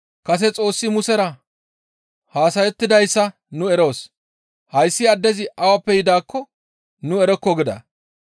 Kase Xoossi Musera haasayettidayssa nu eroos; hayssi addezi awappe yidaakko nu erokko» gida.